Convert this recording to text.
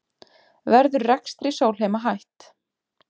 Verður rekstri Sólheima hætt